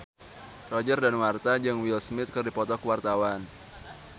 Roger Danuarta jeung Will Smith keur dipoto ku wartawan